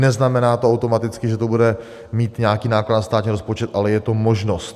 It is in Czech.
Neznamená to automaticky, že to bude mít nějaký náklad na státní rozpočet, ale je to možnost.